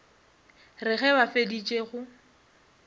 re ge ba feditše go